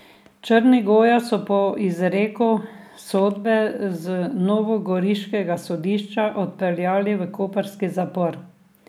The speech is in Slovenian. Črnigoja so po izreku sodbe z novogoriškega sodišča odpeljali v koprski zapor.